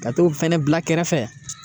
Ka t'o fɛnɛ bila kɛrɛfɛ